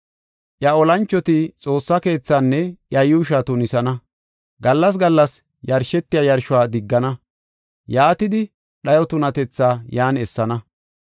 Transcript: “Iya olanchoti Xoossa keethaanne iya yuushuwa tunisana; gallas gallas yarshetiya yarshuwa diggana. Yaatidi, dhayo tunatetha yan essana.